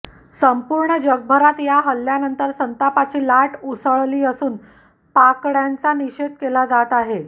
संपूर्ण जगभरात या हल्ल्यानंतर संतापाची लाट उसळली असून पाकड्यांचा निषेध केला जात आहे